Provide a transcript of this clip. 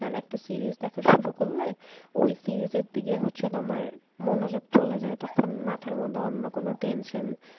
কারণ একটা series দেখা শুরু করলে ওই series এর দিকে হচ্ছে তোমার মনোযোগ চলে যায় তখন মাথার মধ্যে অন্য কোন tension